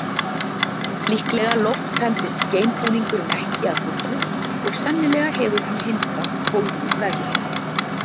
Líklega lofttæmdist geimbúningurinn ekki að fullu og sennilega hefur hann hindrað bólgnun vefja.